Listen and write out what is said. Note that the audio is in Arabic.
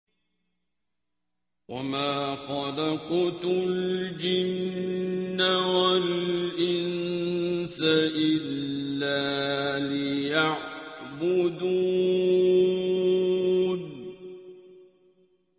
وَمَا خَلَقْتُ الْجِنَّ وَالْإِنسَ إِلَّا لِيَعْبُدُونِ